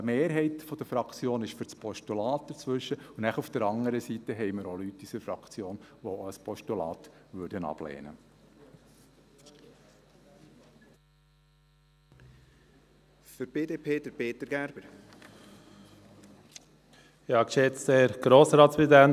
Eine Mehrheit der Fraktion ist für das Postulat – dazwischen –, und dann haben wir auf der anderen Seite Leute in unserer Fraktion, die ein Postulat ablehnen würden.